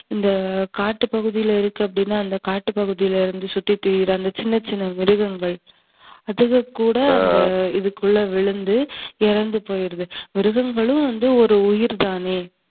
இந்த காட்டுப்பகுதியில இருக்கு அப்டினா, அந்த காட்டுப்பகுதியில சுத்தி திரியிற அந்த சின்ன, சின்ன மிருகங்கள் அதுக கூட இதுக்குள்ள விழுந்து இறந்துபோயிருது. மிருகங்களும் ஒரு உயிர்தானே.